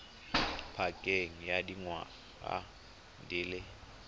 pakeng ya dingwaga di le